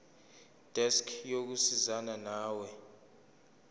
desk yokusizana nawe